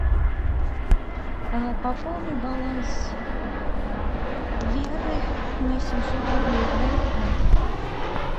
пополни баланс веры на семьсот рублей для интернета